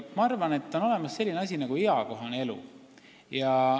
Ma arvan, et on olemas selline asi nagu eakohane elu.